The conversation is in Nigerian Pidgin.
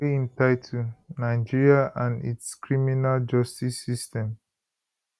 wey im title nigeria and its criminal justice system